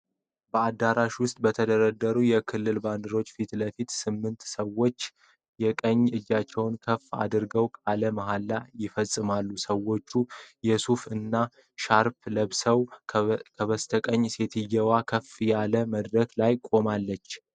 በአዳራሽ ውስጥ በተደረደሩ የክልል ባንዲራዎች ፊት ለፊት፣ ስምንት ሰዎች የቀኝ እጃቸውን ከፍ አድርገው ቃለ መሐላ ይፈጽማሉ። ሰዎች የሱፍ እና ሻርፕ ለብሰዋል፤ ከበስተቀኝ ሴትየዋ ከፍ ያለ መድረክ ላይ ቆማለች።